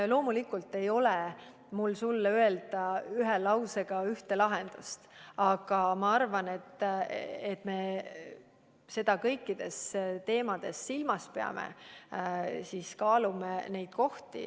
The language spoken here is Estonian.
Loomulikult ei ole mul sulle öelda ühe lausega ühte lahendust, aga ma arvan, et me peame seda kõikide teemade puhul silmas ja kaalume neid kohti.